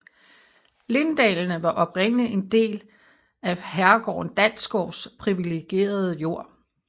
Linddalene var oprindeligt en del at herregården Dalsgaards privilegerede jord